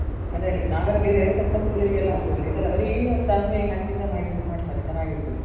ಅದೆ ನಾವೆಲ್ಲಾ ಬೇರೆ ಕೊತ್ತಂಬರಿ, ಜಿರ್ಗೆ ಎಲ್ಲ ಹಾಕ್ತಿವಲ್ಲ ಇದೆಲ್ಲ ಬರಿ ಸಾಸ್ವೆ ಹಾಕಿ ಸಹ ಮಾಡ್ತಾರೆ ಚೆನಾಗಿರ್ತದೆ.